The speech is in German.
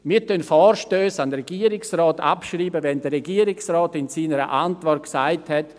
Wir schreiben Vorstösse an den Regierungsrat ab, wenn der Regierungsrat in seiner Antwort gesagt hat: